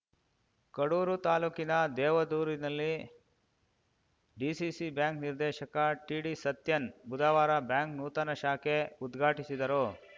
ಕಡೂರು ತಾಲೂಕಿನ ದೇವದೂರಿನಲ್ಲಿ DCC bank ನಿರ್ದೇಶಕ ಟಿಡಿ ಸತ್ಯನ್‌ ಬುಧವಾರ ಬ್ಯಾಂಕ್‌ ನೂತನ ಶಾಖೆ ಉದ್ಘಾಟಿಸಿದರು